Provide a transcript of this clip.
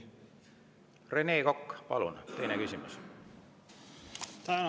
Rene Kokk, palun, teine küsimus!